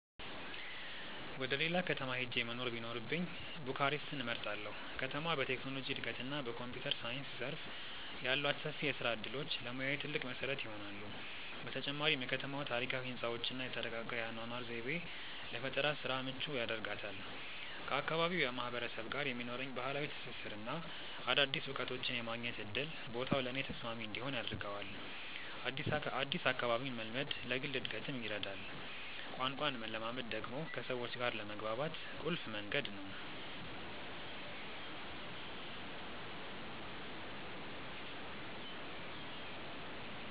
ወደ ሌላ ከተማ ሄጄ መኖር ቢኖርብኝ ቡካሬስትን እመርጣለሁ። ከተማዋ በቴክኖሎጂ እድገትና በኮምፒውተር ሳይንስ ዘርፍ ያሏት ሰፊ የስራ እድሎች ለሙያዬ ትልቅ መሰረት ይሆናሉ። በተጨማሪም የከተማዋ ታሪካዊ ህንፃዎችና የተረጋጋ የአኗኗር ዘይቤ ለፈጠራ ስራ ምቹ ያደርጋታል። ከአካባቢው ማህበረሰብ ጋር የሚኖረኝ ባህላዊ ትስስርና አዳዲስ እውቀቶችን የማግኘት እድል ቦታው ለእኔ ተስማሚ እንዲሆን ያደርገዋል። አዲስ አካባቢን መልመድ ለግል እድገትም ይረዳል። ቋንቋን መለማመድ ደግሞ ከሰዎች ጋር ለመግባባት ቁልፍ መንገድ ነው።